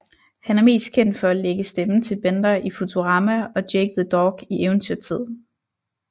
Han er mest kendt for at lægge stemme til Bender i Futurama og Jake the Dog i Eventyrtid